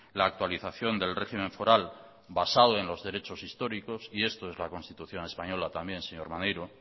la actualización del régimen foral basado en los derechos históricos y esto es la constitución española también señor maneiro